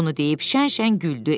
Bunu deyib şən-şən güldü.